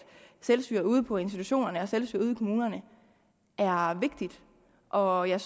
selvstyret ude på institutionerne og selvstyret ude i kommunerne er vigtigt og jeg